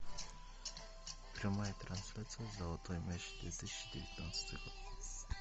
прямая трансляция золотой мяч две тысячи девятнадцатый год